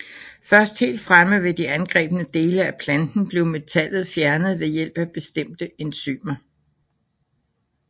Først helt fremme ved de angrebne dele af planten bliver metallet fjernet ved hjælp af bestemte enzymer